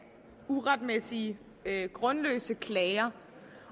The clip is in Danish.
uretmæssige grundløse klager